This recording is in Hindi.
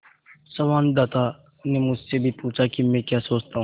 संवाददाता ने मुझसे भी पूछा कि मैं क्या सोचता हूँ